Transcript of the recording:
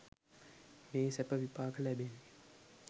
මේ සැප විපාක ලැබෙන්නේ.